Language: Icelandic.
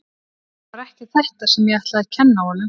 Það var ekki þetta sem ég ætlaði að kenna honum.